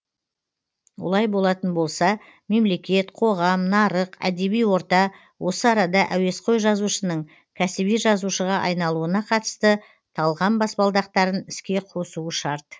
олай болатын болса мемлекет қоғам нарық әдеби орта осы арада әуесқой жазушының кәсіби жазушыға айналуына қатысты талғам баспалдақтарын іске қосуы шарт